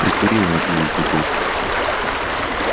прикурила одну от другой